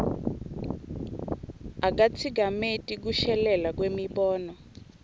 akatsikameti kushelela kwemibono